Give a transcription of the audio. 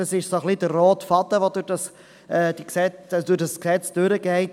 Dies ist der rote Faden, der durch dieses Gesetz geht.